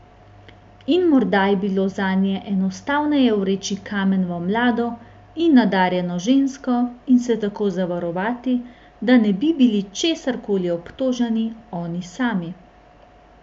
In morda je bilo zanje enostavneje vreči kamen v mlado in nadarjeno žensko in se tako zavarovati, da ne bi bili česar koli obtoženi oni sami.